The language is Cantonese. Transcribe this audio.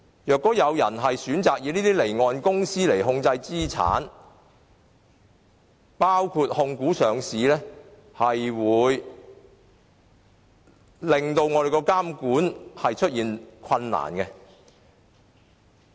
如果有人以離岸公司控制資產，將會導致監管困難。